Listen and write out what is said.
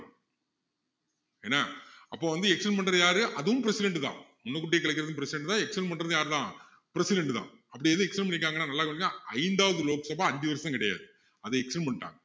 என்ன அப்போ வந்து extend பண்றது யாரு அதுவும் president தான் முன்னுக்கூட்டியே கலைக்கிறதும் president தான் extend பண்றதும் யாரு தான் president தான் அப்படி என்ன extend பண்ணிருக்காங்கன்னா நல்லா கவனிச்சிங்கன்னா ஐந்தாவது லோக் சபா அஞ்சு வருஷம் கிடையாது அதை extend பண்ணிட்டாங்க